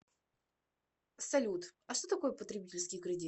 салют а что такое потребительский кредит